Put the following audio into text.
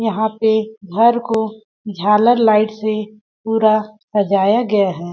यहां पे घर को झालर लाइट से पूरा सजाया गया है।